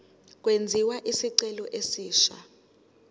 kwenziwe isicelo esisha